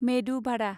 medu Bhada